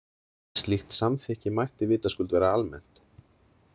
Slíkt samþykki mætti vitaskuld vera almennt.